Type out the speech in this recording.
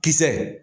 Kisɛ